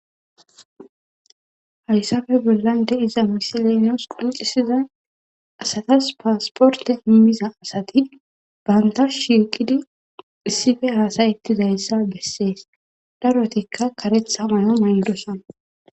Hayssafe bollan de iza misilenos qulucisiza asatas paasporte immiza asati bantas shiiqidi issife haasayetidayssa bessees darotikka karetha mayo mandosan.